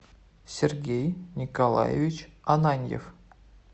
сергей николаевич ананьев